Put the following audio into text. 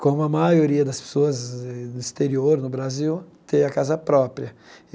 Como a maioria das pessoas eh no exterior, no Brasil, tem a casa própria.